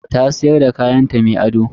Ta siyar da kayanta mai ado.